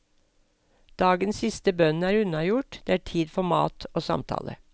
Dagens siste bønn er unnagjort, det er tid for mat og samtale.